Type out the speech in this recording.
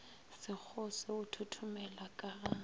sekgose o thothela ka ga